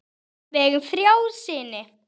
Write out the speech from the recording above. Við eigum þrjá syni.